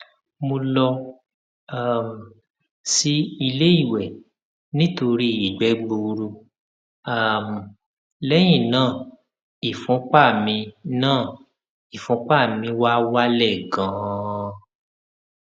mo lọ um sí ilé ìwẹ nítorí ìgbẹ gbuuru um lẹyìn náà ìfúnpá mi náà ìfúnpá mi wá wálẹ ganan